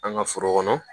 An ka foro kɔnɔ